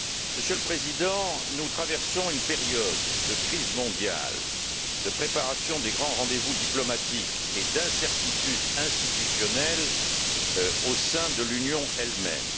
Monsieur le Président, nous traversons une période de crise mondiale, de préparation des grands rendez vous diplomatiques et d'incertitude institutionnelle au sein de l'Union elle même.